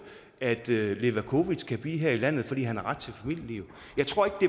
at levakovic kan blive her i landet fordi han har ret til et familieliv jeg tror